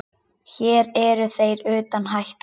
Hér eru þeir utan hættu.